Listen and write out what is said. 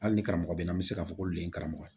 Hali ni karamɔgɔ bɛ n'an bɛ se k'a fɔ ko le ye karamɔgɔ ye